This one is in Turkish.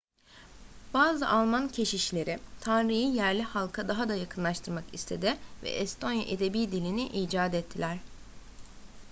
bazı alman keşişleri tanrı'yı yerli halka daha da yakınlaştırmak istedi ve estonya edebi dilini icat ettiler